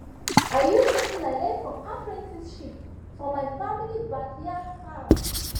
i use wetin i learn from apprenticeship for my family backyard farm